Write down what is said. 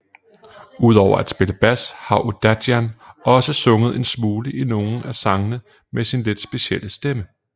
Udover at spille bas har Odadjian også sunget en smule i nogle af sangene med sin lidt specielle stemme